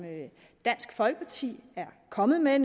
dansk folkeparti er kommet med